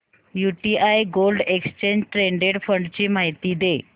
UTI gold exchange traded fund ची माहिती दे